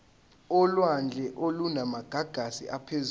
olwandle olunamagagasi aphezulu